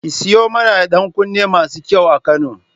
Ki sayo mana ɗankunne masu kyau a Kano.